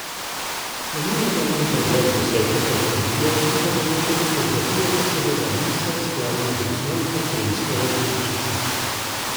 Ponujamo vam pregled desetih avtomobilov, pripadajoče fotografije pa seveda niso skladne z osnovno opremsko različico.